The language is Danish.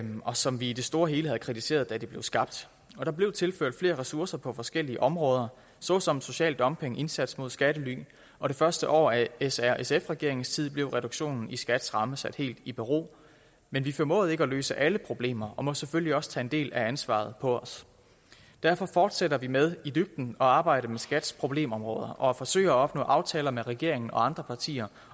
og som vi i det store hele havde kritiseret da de blev skabt og der blev tilført flere ressourcer på forskellige områder såsom social dumping indsats mod skattely og det første år af s r sf regeringens tid blev reduktionen i skats ramme sat helt i bero men vi formåede ikke at løse alle problemer og må selvfølgelig også tage en del af ansvaret på os derfor fortsætter vi med i dybden at arbejde med skats problemområder og forsøger at opnå aftaler med regeringen og andre partier